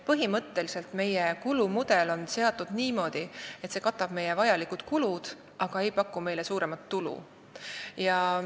Põhimõtteliselt on meie kulumudel seatud niimoodi, et see katab vajalikud kulud, aga ei paku meile suuremat tulu.